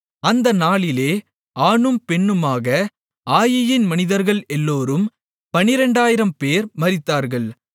அந்த நாளிலே ஆணும் பெண்ணுமாக ஆயீயின் மனிதர்கள் எல்லோரும் 12000 பேர் மரித்தார்கள்